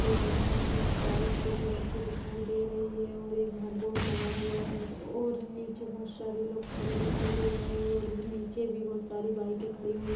ground में बहुत सारी स्कूटी रखी दिखाई दे रही है और एक बाहर बोर्ड लगा हुआ है और नीचे बहुत सारे लोग खड़े दिखाई दे रहे है और नीचे भी बहुत सारी बाइके खड़ी--